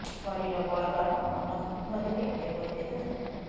ଶରୀର ବଳବାନ ଓ ମନ ଶୁଦ୍ଧ ଥିଲେ ଏପରି ତେଜ ସମ୍ଭବ